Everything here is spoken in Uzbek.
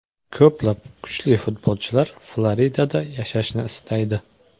Ko‘plab kuchli futbolchilar Floridada yashashni istaydi.